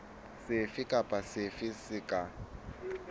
sefe kapa sefe se ka